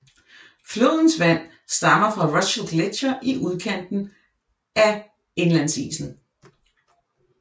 Flodens vand stammer fra Russell Gletsjer i udkanten af indlandsisen